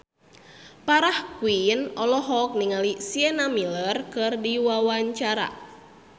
Farah Quinn olohok ningali Sienna Miller keur diwawancara